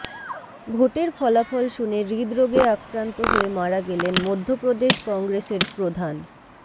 ভোটের ফলাফল শুনে হৃদরোগে আক্রান্ত হয়ে মারা গেলেন মধ্য প্রদেশ কংগ্রেসের প্রধান